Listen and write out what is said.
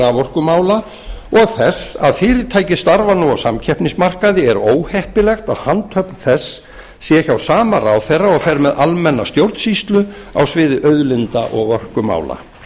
raforkumála og þess að fyrirtækið starfar nú á samkeppnismarkaði er óheppilegt að handhöfn þess sé hjá sama ráðherra og fer með almenna stjórnsýslu á sviði auðlinda og orkumála